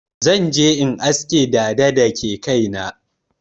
Zan je in aske dada da ke kai na.